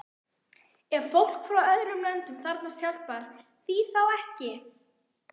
Ef fólk frá öðrum löndum þarfnast hjálpar, því þá ekki?